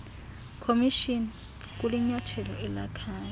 commission kulinyathelo elakhayo